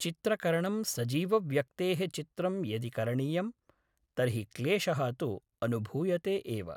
चित्रकरणं सजीवव्यक्तेः चित्रं यदि करणीयं तर्हि क्लेशः तु अनुभूयते एव